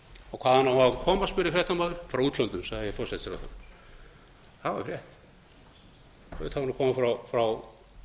og hvaðan á hann að koma spurði fréttamaðurinn frá útlöndum sagði forsætisráðherra það var rétt auðvitað á hann að koma frá